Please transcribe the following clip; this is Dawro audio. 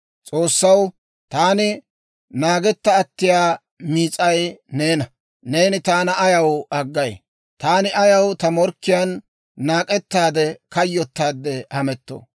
S'oossaw, taani naagetta attiyaa miis'ay neena. Neeni taana ayaw aggay? Taani ayaw ta morkkiyaan, naak'ettaade kayyotaadde hamettoo?